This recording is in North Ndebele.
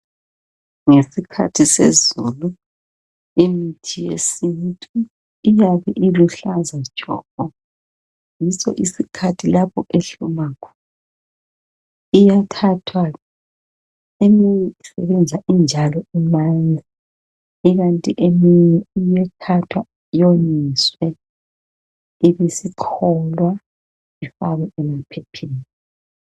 Ngesikhathi sezulu imithi yesintu iyabe iluhlaza tshoko yiso isikhathi lapho ehluma khona. Iyathathwa eminye isebenza injalo imanzi iknti eminye iyathathwa iyonyiswe ibesicholwa ifakwe emaphepheni.